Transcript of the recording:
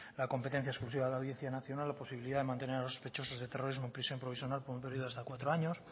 la competencia exclusiva de la audiencia nacional la posibilidad de mantener a los sospechosos de terrorismo en prisión provisional con un periodo de hasta cuatro años